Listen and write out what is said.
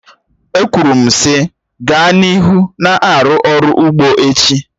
E kwuru m sị, gaa n'ihu na-arụ ọrụ ugbo echi!